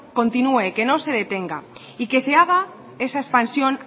continúe que no se detenga y que se haga esa expansión